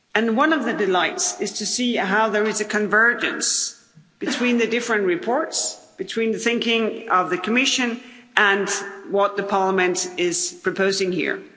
One of the delights is to see how there is convergence between the different reports, between the thinking of the Commission and what Parliament is proposing here.